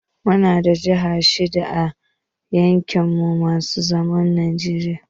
Muna da jaha shida a kudu maso yammacin najeriya.